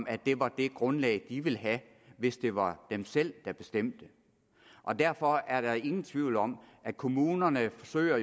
at det var det grundlag de ville have hvis det var dem selv der bestemte derfor er der ingen tvivl om at kommunerne jo forsøger